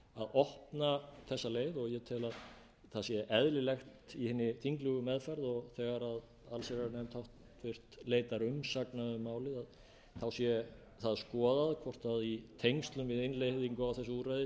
opna þessa leið og ég tel að það sé eðlilegt í hinni þinglegu meðferð og þegar háttvirta allsherjarnefnd leitar umsagnar um málið sé að skoðað hvort í tengslum við innleiðingu á þessu úrræði sé